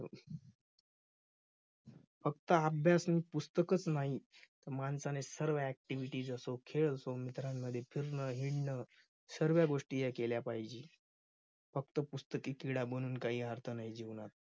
फक्त अभ्यास आणि पुस्तकच नाही तर माणसाने सर्व activities असो खेळ असो मित्रांमध्ये फिरणं हिंडणं सर्व्या गोष्टी या केल्या पाहिजेत. फक्त पुस्तकी किडा बनून काही राहत नाही जीवनात.